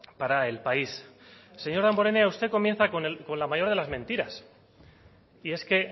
para el país señor damborenea usted comienza con la mayor de las mentiras y es que